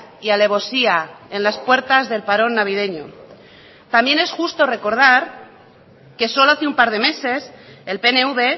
y alevosía en las puertas del parón navideño también es justo recordar que solo hace un par de meses el pnv